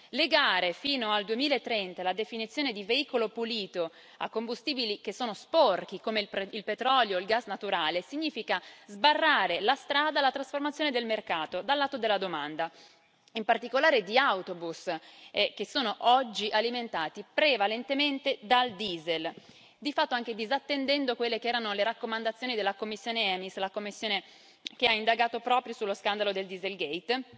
Legare fino al 2030 la definizione di veicolo pulito a combustibili che sono sporchi, come il petrolio e il gas naturale, significa sbarrare la strada alla trasformazione del mercato dal lato della domanda, in particolare di autobus, che sono oggi alimentati prevalentemente dal diesel, di fatto anche disattendendo quelle che erano le raccomandazioni della commissione EMIS, la commissione che ha indagato proprio sullo scandalo del dieselgate